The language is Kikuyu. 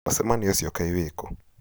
mũcemanĩo ũcio Kaĩ wĩkũ